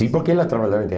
Sim, porque ela trabalhava em